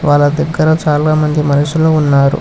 వాళ్ళ దగ్గర చాలా మంది మనుషులు ఉన్నారు.